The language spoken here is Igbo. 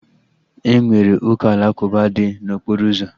Enwere ụka alakụba dị n'okporo ụzọ